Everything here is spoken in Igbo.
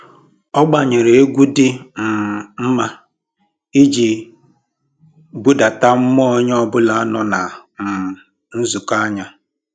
Ọ gbanyere egwu dị um mma iji budata mmụọ onye ọbụla nọ na um nzukọ anyị